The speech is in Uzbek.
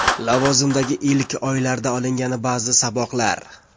Lavozimdagi ilk oylarda olingan ba’zi saboqlar.